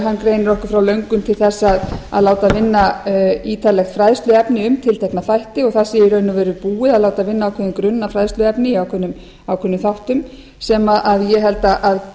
hann greinir okkur frá löngun til þess að láta vinna ítarlegt fræðsluefni í tiltekna þætti og það sé í raun og veru búið að láta vinna ákveðinn grunn að fræðsluefni í ákveðnum þáttum sem ég held að